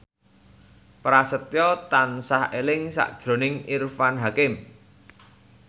Prasetyo tansah eling sakjroning Irfan Hakim